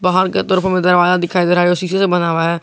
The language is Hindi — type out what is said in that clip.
बाहर के तरफ हमें दरवाजा दिखाई दे रहा है जो शीशे का बना हुआ है।